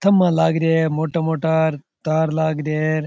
खंभा लाग रखे है मोटा मोटा तार लाग रहे है।